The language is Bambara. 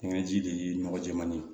Kɛɲɛ ji de ye nɔgɔ jɛman ye